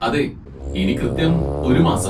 അതെ, ഇനി കൃത്യം ഒരു മാസം.